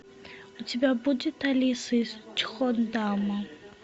у тебя будет алиса из чхондама